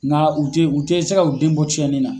Nka u tɛ u tɛ se ka u den bɔ tiɲɛnin na.